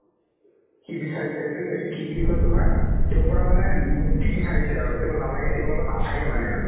কি বিচাৰিছে এইটো এইটো কি বুলি কই তোমাৰ তেওঁৰ পৰা মানে মুক্তি বিচাৰিছে আৰু তেওঁ নালাগে তেওঁৰ লগত নাথাকে মানে আৰু